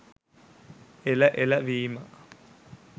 එල එල විමා